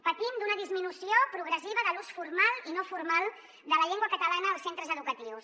patim d’una disminució progressiva de l’ús formal i no formal de la llengua catalana als centres educatius